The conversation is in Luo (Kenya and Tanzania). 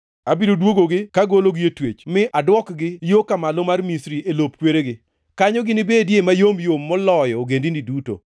Abiro dwogogi kagologi e twech, mi aduokgi yo ka Malo mar Misri, + 29:14 Gi dho jo-Hibrania iluongo kanyo ni Pathros. e lop kweregi. Kanyo ginibedie mayom yom moloyo ogendini duto.